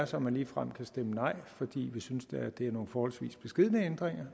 så man ligefrem stemmer nej for vi synes da det er nogle forholdsvis beskedne ændringer